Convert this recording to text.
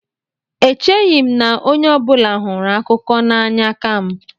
Echeghị m na onye ọ bụla hụrụ akụkọ n'anya ka m.